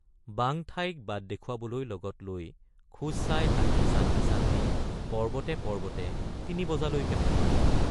বাঙঠাইক বাট দেখুৱাবলৈ লগত লৈ খোজ চাই হাতী চান্দি চান্দি পৰ্বতে পৰ্বতে তিনি বজালৈকে ফুৰিলোঁ।